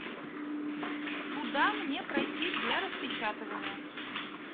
куда мне пройти для распечатывания